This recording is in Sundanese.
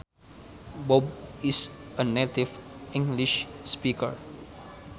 Bob is a native English speaker